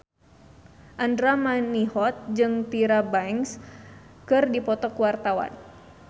Andra Manihot jeung Tyra Banks keur dipoto ku wartawan